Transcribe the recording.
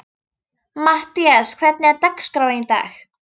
Mattías, hvernig er dagskráin í dag?